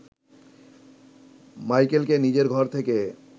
মাইকেলকে নিজের ঘর থেকে